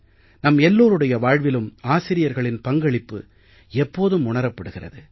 நம் எல்லோருடைய வாழ்விலும் ஆசிரியர்களின் பங்களிப்பு எப்போதும் உணரப்படுகிறது